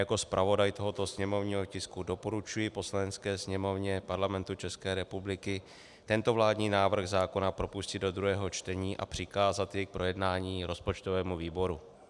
Jako zpravodaj tohoto sněmovního tisku doporučuji Poslanecké sněmovny Parlamentu České republiky tento vládní návrh zákona propustit do druhého čtení a přikázat jej k projednání rozpočtovému výboru.